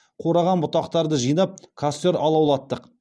қураған бұтақтарды жинап костер алаулаттық